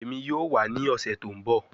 Emi yoo wa ni ọsẹ to nbọ